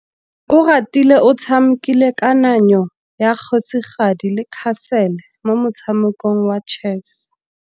Oratile o tshamekile kananyô ya kgosigadi le khasêlê mo motshamekong wa chess.